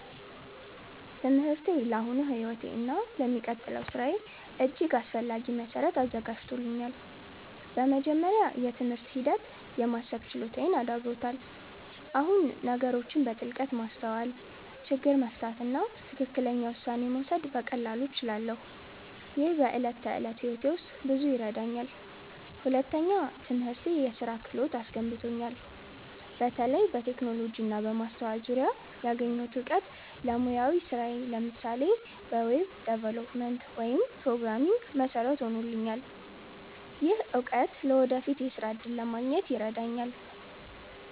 ትምህርቴ ለአሁኑ ሕይወቴ እና ለሚቀጥለው ሥራዬ እጅግ አስፈላጊ መሠረት አዘጋጅቶኛል። በመጀመሪያ፣ የትምህርት ሂደት የማሰብ ችሎታዬን አዳብሮታል። አሁን ነገሮችን በጥልቀት ማስተዋል፣ ችግር መፍታት እና ትክክለኛ ውሳኔ መውሰድ በቀላሉ እችላለሁ። ይህ በዕለት ተዕለት ሕይወቴ ውስጥ ብዙ ይረዳኛል። ሁለተኛ፣ ትምህርቴ የስራ ክህሎት አስገንብቶኛል። በተለይ በቴክኖሎጂ እና በማስተዋል ዙሪያ ያገኘሁት እውቀት ለሙያዊ ስራዬ (ለምሳሌ በweb development ወይም programming) መሠረት ሆኖልኛል። ይህ እውቀት ለወደፊት የሥራ እድል ለማግኘት ይረዳኛል።